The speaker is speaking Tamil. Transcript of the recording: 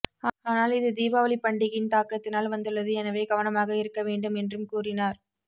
ஆனால் இது தீபாவளி பண்டிகையின் தாக்கத்தினால் வந்துள்ளது எனவே கவனமாக இருக்க வேண்டும் என்றும் கூறினார்